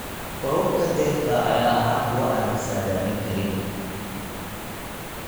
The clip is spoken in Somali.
Roobabka dayrta ayaa ahaa kuwo aan la saadaalin karin.